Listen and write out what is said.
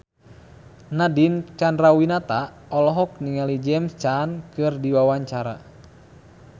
Nadine Chandrawinata olohok ningali James Caan keur diwawancara